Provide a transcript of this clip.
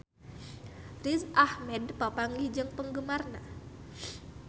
Riz Ahmed papanggih jeung penggemarna